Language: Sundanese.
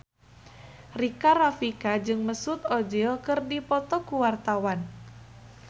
Rika Rafika jeung Mesut Ozil keur dipoto ku wartawan